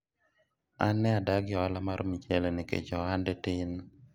an ne adagi ohala mar mchele nikech ohande tin